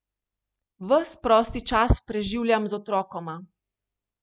Ves prosti čas preživljam z otrokoma.